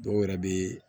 Dɔw yɛrɛ bɛ